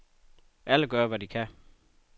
Alle gør, hvad de kan.